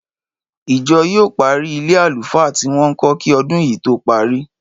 Ìjọ yóò parí ilé àlùfáà tí wọ́n ń kọ́ kí ọdún yìí tó parí